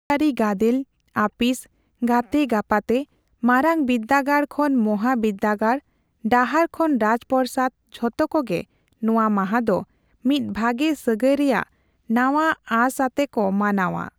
ᱨᱟᱡᱽᱟᱹᱨᱤ ᱜᱟᱫᱮᱞ, ᱟᱹᱯᱤᱥ, ᱜᱟᱛᱮᱼᱜᱟᱯᱟᱛᱮ, ᱢᱟᱨᱟᱝ ᱵᱤᱫᱽᱫᱟᱹᱜᱟᱲ ᱠᱷᱚᱱ ᱢᱚᱦᱟᱵᱤᱫᱽᱜᱟᱲ, ᱰᱟᱦᱟᱨ ᱠᱷᱚᱱ ᱨᱟᱡᱽᱯᱚᱨᱚᱥᱟᱫᱽ ᱡᱷᱚᱛᱚ ᱠᱚᱜᱮ ᱱᱚᱣᱟ ᱢᱟᱦᱟᱫᱚ ᱢᱤᱫ ᱵᱷᱟᱜᱮ ᱥᱟᱹᱜᱟᱹᱭ ᱨᱮᱭᱟᱜ ᱱᱟᱣᱟ ᱟᱸᱥ ᱟᱛᱮ ᱠᱟᱛᱮ ᱠᱚ ᱢᱟᱱᱟᱣᱼᱟ ᱾